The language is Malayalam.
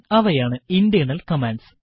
അവയാണ് ഇന്റേർണൽ കമാൻഡ്സ്